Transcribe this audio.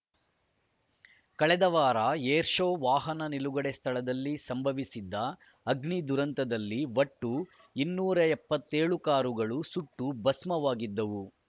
ಕಳೆದ ವಾರ ಏರ್‌ಶೋ ವಾಹನ ನಿಲುಗಡೆ ಸ್ಥಳದಲ್ಲಿ ಸಂಭವಿಸಿದ್ದ ಅಗ್ನಿ ದುರಂತದಲ್ಲಿ ಒಟ್ಟು ಇನ್ನೂರ ಎಪ್ಪತ್ತೆಳು ಕಾರುಗಳು ಸುಟ್ಟು ಭಸ್ಮವಾಗಿದ್ದವು